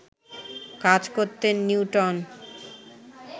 কাজ করতেন নিউটন